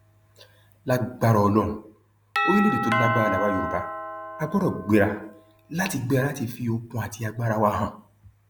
lágbára ọlọrun orílẹèdè tó lágbára làwa yorùbá á gbọdọ gbéra láti gbéra láti fi okun àti agbára wa hàn